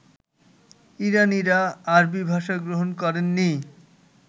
ইরানীরা আরবী ভাষা গ্রহণ করেননি